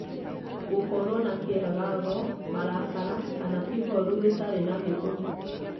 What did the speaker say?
gũkorwo na kĩagago, marakara, kana ihoru rĩtarĩ na gĩtũmi